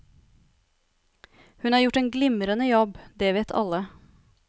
Hun har gjort en glimrende jobb, det vet alle.